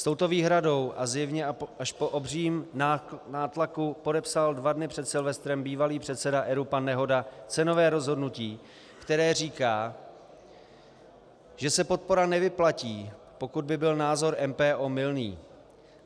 S touto výhradou a zjevně až po obřím nátlaku podepsal dva dny před Silvestrem bývalý předseda ERÚ pan Nehoda cenové rozhodnutí, které říká, že se podpora nevyplatí, pokud by byl názor MPO mylný.